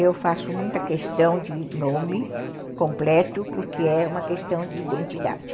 Eu faço muita questão de nome completo porque é uma questão de identidade.